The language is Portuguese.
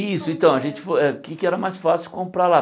Isso, então, a gente foi o que é que era mais fácil comprar lá?